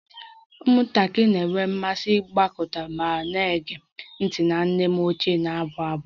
Ụmụaka na-enwe mmasị ịgbakọta ma na-ege ntị na nne m ochie na-abụ abụ